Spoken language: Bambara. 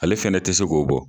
Ale fɛnɛ tɛ se k'o bɔ.